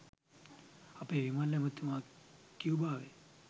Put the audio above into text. අපේ විමල් ඇමතිතුමා කියුබාවේ